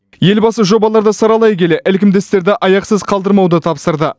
елбасы жобаларды саралай келе ілкімді істерді аяқсыз қалдырмауды тапсырды